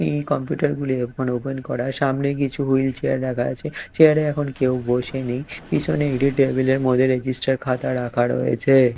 এই কম্পিউটার গুলি এখন ওপেন করা সামনে কিছু হুইল চেয়ার রাখা আছে চেয়ার -এ এখন কেউ বসে নেই পিছনে একটি টেবিল - এর মধ্যে রেজিস্টার খাতা রাখা রয়েছে।